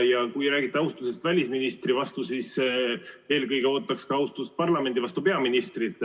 Ja kui teie räägite austusest välisministri vastu, siis eelkõige ootaks ka peaministrilt austust parlamendi vastu.